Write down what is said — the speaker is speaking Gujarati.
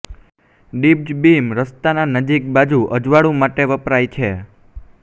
ડીપ્ડ બીમ રસ્તાના નજીક બાજુ અજવાળવું માટે વપરાય છે